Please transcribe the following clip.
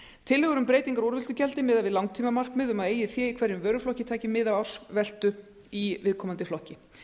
tillögur um breytingar á úrvinnslugjaldi miða við langtímamarkmið um að eigið fé í hverjum vöruflokki taki mið af ársveltu í viðkomandi flokki